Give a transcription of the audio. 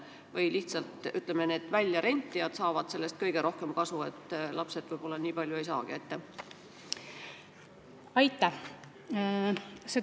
Või ütleme, et äkki need väljarentijad saavad sellest kõige rohkem kasu, lapsed võib-olla nii palju ei saagi?